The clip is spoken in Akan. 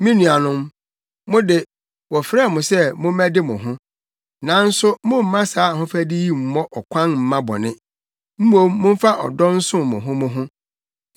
Me nuanom, mo de, wɔfrɛɛ mo sɛ mommɛde mo ho. Nanso mommma saa ahofadi yi mmɔ ɔkwan mma bɔne; mmom momfa ɔdɔ nsom mo ho mo ho.